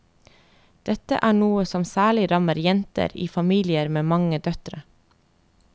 Dette er noe som særlig rammer jenter i familier med mange døtre.